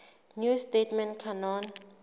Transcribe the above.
new testament canon